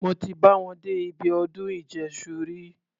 Mí ò tí bá wọn dé ibi ọdún ìjẹ́ṣu rí.